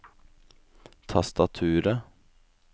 tastaturet